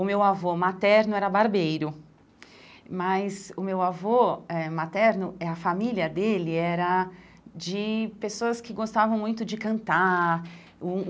O meu avô materno era barbeiro, mas o meu avô eh materno, eh a família dele era de pessoas que gostavam muito de cantar um.